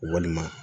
Walima